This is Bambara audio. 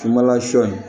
Finma lasunɔ